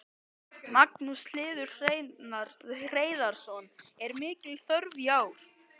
Magnús Hlynur Hreiðarsson: Er mikil þörf í ár?